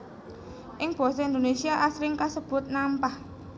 Ing basa Indonésia asring kasebut nampah